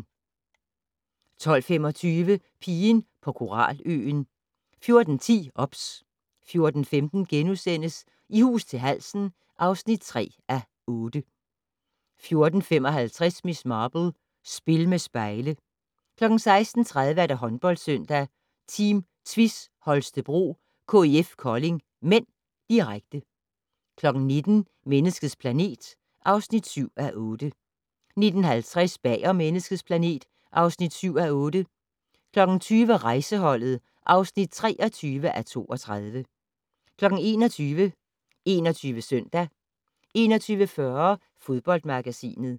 12:25: Pigen på koraløen 14:10: OBS 14:15: I hus til halsen (3:8)* 14:55: Miss Marple: Spil med spejle 16:30: Håndboldsøndag: Team Tvis Holstebro-KIF Kolding (m), direkte 19:00: Menneskets planet (7:8) 19:50: Bag om Menneskets planet (7:8) 20:00: Rejseholdet (23:32) 21:00: 21 Søndag 21:40: Fodboldmagasinet